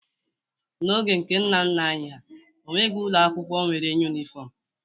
N'oge nke nna nna anyị ha, o nweghi ụlọ akwụkwọ nwere yunifọmụ.